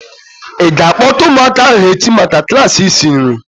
I ga-akpota ụmụaka ahu echi maka klaasị isi nri?